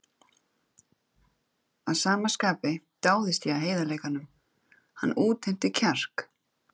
Að sama skapi dáðist ég að heiðarleikanum, hann útheimti kjark.